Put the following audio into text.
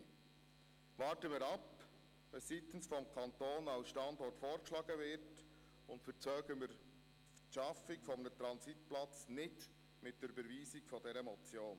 – Warten wir ab, was seitens des Kantons als Standort vorgeschlagen wird, und verzögern wir nicht die Schaffung eines Transitplatzes mit der Überweisung dieser Motion.